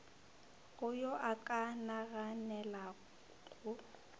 go yo a ka naganelago